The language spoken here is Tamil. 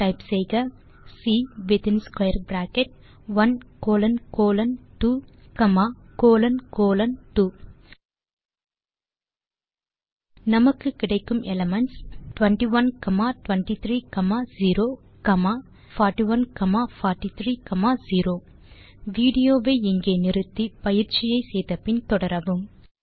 டைப் செய்க சி வித்தின் square bracket 1 colon colon 2 comma colon colon 2 நமக்கு கிடைக்கும் எலிமென்ட்ஸ் 21 23 0 காமா 41 43 0 | |1826 | வீடியோ வை இங்கே நிறுத்தி பயிற்சியை செய்து முடித்து பின் தொடரவும்